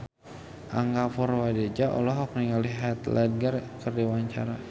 Angga Puradiredja olohok ningali Heath Ledger keur diwawancara